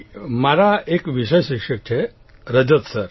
અમારા એક વિષય શિક્ષક છે રજત સર